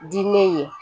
Diinɛ ye